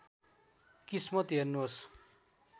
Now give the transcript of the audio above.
किस्मत हेर्नुहोस्